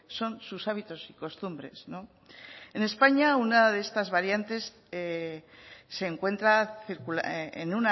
son sus hábitos y costumbres no en españa